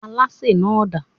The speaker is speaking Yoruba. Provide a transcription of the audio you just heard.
Alásè náà dà?